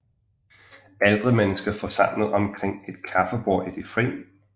Ældre mennesker forsamlet omkring et kaffebord i det fri